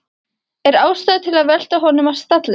Er ástæða til að velta honum af stalli?